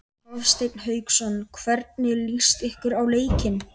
Hafsteinn Hauksson: Hvernig líst ykkur á leikinn?